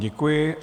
Děkuji.